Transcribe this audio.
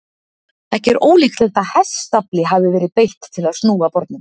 Ekki er ólíklegt að hestafli hafi verið beitt til að snúa bornum.